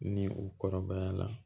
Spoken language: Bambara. Ni u kɔrɔbaya la